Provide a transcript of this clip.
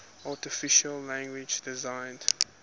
artificial language designed